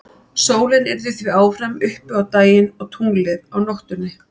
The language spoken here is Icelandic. Sólin yrði því áfram uppi á daginn og tunglið á nóttunni.